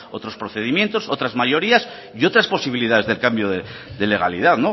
otros procedimientos otras mayorías y otras posibilidades del cambio de legalidad